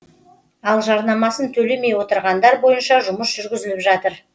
ал жарнасын төлемей отырғандар бойынша жұмыс жүргізіліп жатыр